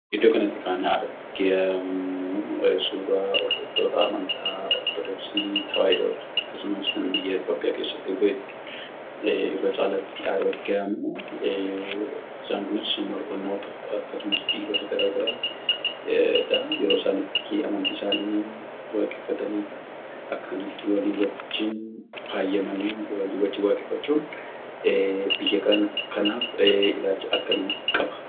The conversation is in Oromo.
Iddoo kanatti kan argamu suuraa hordoftoota amantaa Ortodoksii Tewaahidoodha. Akkasumas kan biyya Itiyoophiyaa keessatti irra caalaatti argamu. Isaan kunis murnoota akkasumas dhiirota garaagaraadha. Yeroo isaan itti amantii isaaniin waaqeffataniidha. Akka kanatti walii wajjin faayyamanii walii wajjin waaqeffachuun biyya kanaaf ilaalcha akkamii qaba?